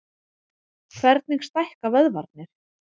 Hvernig stækka vöðvarnir?